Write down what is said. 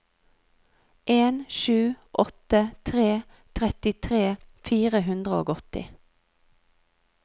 en sju åtte tre trettitre fire hundre og åtti